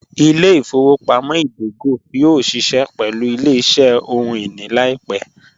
Ìlẹ̀-ifowopamọ̀ idògò yóò ṣíṣẹ pẹ̀lú ìlẹ̀-iṣẹ̀ ọhun-iní laipẹ̀